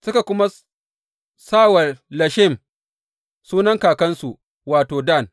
Suka kuma sa wa Leshem, sunan kakansu, wato, Dan.